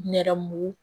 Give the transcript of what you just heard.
Nɛrɛmugugu